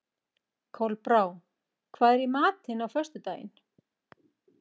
Kolbrá, hvað er í matinn á föstudaginn?